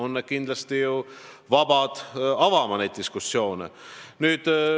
Te olete kindlasti vabad avama neidki diskussioone.